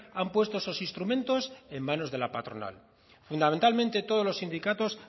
han puesto esos instrumentos en manos de la patronal fundamentalmente todos los sindicatos